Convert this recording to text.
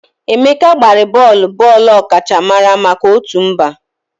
Emeka gbara bọọlụ bọọlụ ọkachamara maka otu mba.